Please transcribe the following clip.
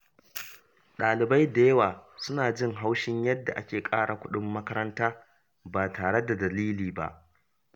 Ɗalibai da yawa suna jin haushin yadda ake ƙara kuɗin makaranta ba tare da dalili ba.